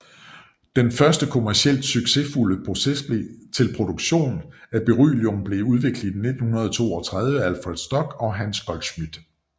Den første kommercielt succesfulde proces til produktion af beryllium blev udviklet i 1932 af Alfred Stock og Hans Goldschmidt